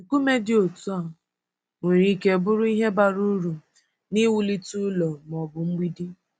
Nkume dị otu a nwere ike bụrụ ihe bara uru n’iwulite ụlọ ma ọ bụ mgbidi.